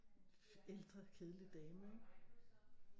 Ældre kedelig dame ikke